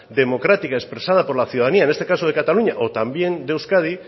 democrática expresada por la ciudadanía en este caso de cataluña o también de euskadi